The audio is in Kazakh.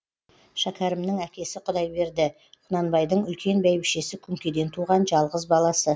шәкерімнің әкесі құдайберді құнанбайдың үлкен бәйбішесі күңкеден туған жалғыз баласы